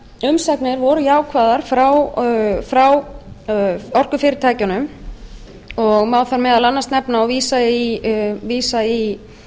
fjölmargar umsagnir voru jákvæðar frá orkufyrirtækjunum og má þar meðal annars nefna og vísa í